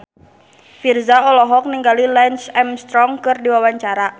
Virzha olohok ningali Lance Armstrong keur diwawancara